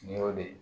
Nin y'o de ye